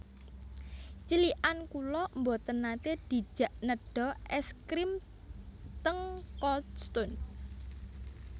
Cilikan kula mboten nate dijak nedha es grim teng Cold Stone